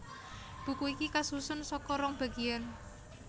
Buku iki kasusun saka rong bagiyan